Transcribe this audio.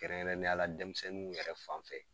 Kɛrɛn kɛrɛnniya la denmisɛnninw yɛrɛ fan fɛ.